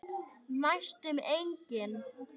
Næstum engin.